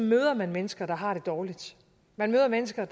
møder man mennesker der har det dårligt man møder mennesker